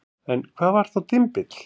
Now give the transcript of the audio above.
En hvað var þá dymbill?